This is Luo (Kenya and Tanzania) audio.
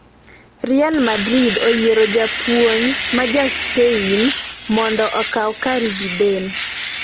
Real Madrid oyiero japuonj ma ja Spain mondo okaw kar Zidane